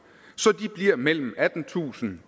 så de bliver mellem attentusind